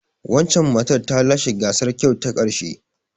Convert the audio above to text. Wancan matar ta lashe gasar kyau ta karshe.